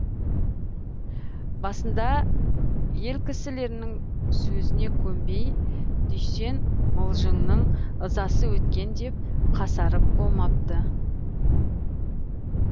басында ел кісілерінің сөзіне көнбей дүйсен мылжыңның ызасы өткен деп қасарып болмапты